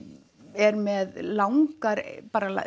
er með langar bara